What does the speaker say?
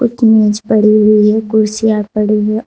एक मेज पड़ी हुई हैं। कुर्सियां पड़ी हैं।